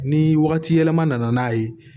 Ni wagati yɛlɛma nana n'a ye